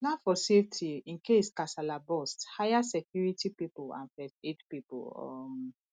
plan for safety incase kasala burst hire security pipo and first aid pipo um